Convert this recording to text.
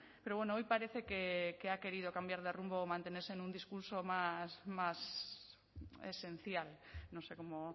pero bueno hoy parece que ha querido cambiar de rumbo o mantenerse en un discurso más esencial no sé como